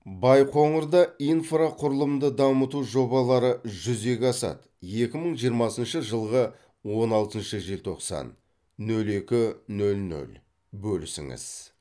байқоңырда инфрақұрылымды дамыту жобалары жүзеге асады екі мың жиырмасыншы жылғы он алтыншы желтоқсан нөл екі нөл нөл бөлісіңіз